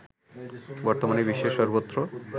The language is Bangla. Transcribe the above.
বর্তমানে বিশ্বের সর্বত্র